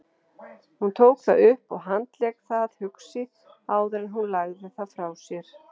Hún tók það upp og handlék það hugsi áður en hún lagði það frá sér.